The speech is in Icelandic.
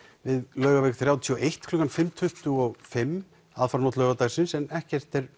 við Laugaveg þrjátíu og eitt klukkan fimm tuttugu og fimm en ekkert er